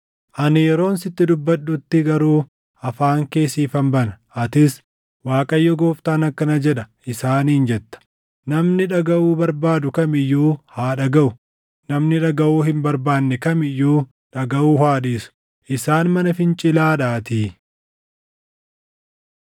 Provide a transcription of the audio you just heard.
Ani yeroon sitti dubbadhutti garuu afaan kee siifan bana; atis, ‘ Waaqayyo Gooftaan akkana jedha’ isaaniin jetta. Namni dhagaʼuu barbaadu kam iyyuu haa dhagaʼu; namni dhagaʼuu hin barbaanne kam iyyuu dhagaʼuu haa dhiisu; isaan mana fincilaadhaatii.